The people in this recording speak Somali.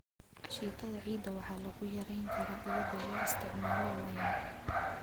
Ashitada ciidda waxaa lagu yarayn karaa iyadoo la isticmaalo lime.